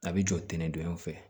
A bɛ jɔ tɛntɛnnen don yan fɛ